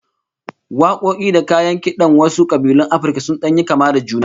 Wakoki da kayan kidan wasu kabilun Afirka sun dan yi kama da juna